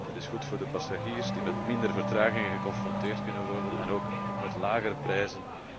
Dat is goed voor de passagiers die met minder vertragingen geconfronteerd kunnen worden en ook met lagere prijzen.